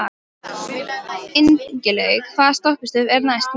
Ingilaug, hvaða stoppistöð er næst mér?